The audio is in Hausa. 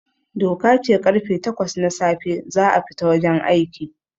Doka ce karfe takwas na safe za a fita wajen aiki